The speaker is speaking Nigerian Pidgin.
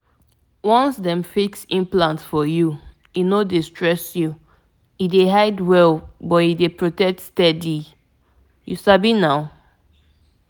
implant dey drop hormone small-small — e dey protect you without wahala. i mean m u know how e b